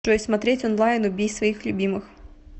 джой смотреть онлайн убей своих любимых